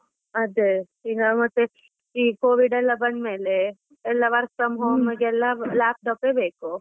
ಅದೇ, ಈಗ ಮತ್ತೆ ಈ Covid ಎಲ್ಲ ಬಂದ್ಮೇಲೆ ಎಲ್ಲ work from home ಗೆಲ್ಲ laptop ಬೇಕು.